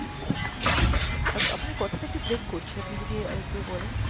আ~ আপনার কথাটা একটু break করছে, আপনি যদি আরেকবার বলেন।